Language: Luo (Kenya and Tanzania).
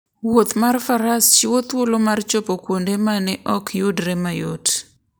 Wuoth mar faras chiwo thuolo mar chopo kuonde ma ne ok yudre mayot.